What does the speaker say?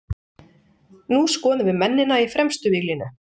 Nú skoðum við mennina í fremstu víglínu.